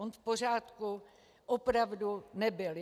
On v pořádku opravdu nebyl.